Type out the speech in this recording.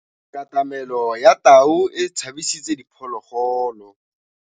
Katamêlô ya tau e tshabisitse diphôlôgôlô.